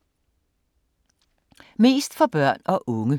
Mest for børn og unge